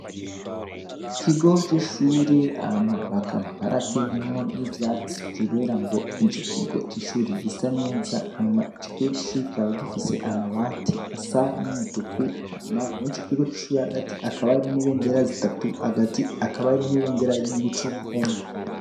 Ikigo c'ishure hama bakaba barateyemwo n'ivyatsi kubera ngo ico kigo c'ishure gise neza hanyuma ico kigo c'ishure kikaba gifise amabati asa n'umutuku hama muri ico kigo c'ishure hagati hakaba hari n'ibendera zitatu hagati hakaba hari n'ibendera y'igihugu c'uburundi.